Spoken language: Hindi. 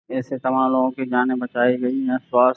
ऐसे तमाम लोगों की जाने बचाई गयी हैं स्वास्थ --